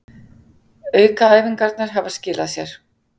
Aukaæfingarnar hafa skilað sér